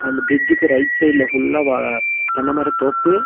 இந்த பிரிட்ஜுக்கு ரைட் சைடுல ஃபுல்லா வா தென்னமர தோப்பு.